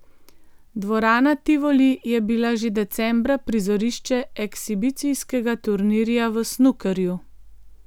Dvorana Tivoli je bila že decembra prizorišče ekshibicijskega turnirja v snukerju.